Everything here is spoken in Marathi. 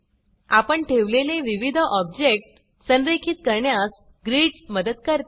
आपण ठेवलेले विविध ऑब्जेक्ट संरेखित करण्यास ग्रिड्स मदत करते